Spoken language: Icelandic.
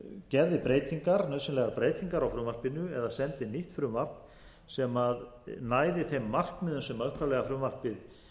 gerði nauðsynlegar breytingar á frumvarpinu eða sendi nýtt frumvarp sem næði þeim markmiðum sem upphaflega frumvarpið